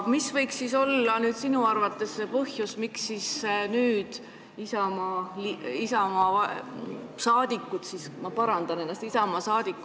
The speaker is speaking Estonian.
Mis võiks siis olla sinu arvates see põhjus, miks nüüd Isamaa saadikud ei toeta seda eelnõu?